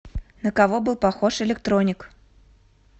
на кого был похож электроник